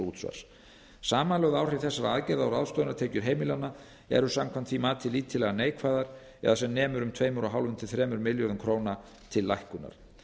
útsvars samanlögð áhrif þessara aðgerða á ráðstöfunartekjur heimilanna eru samkvæmt því mati lítillega neikvæð eða sem nemur tveimur og hálft til þremur milljörðum króna til lækkunar